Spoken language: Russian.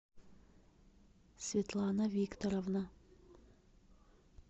светлана викторовна